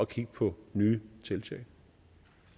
kigge på nye tiltag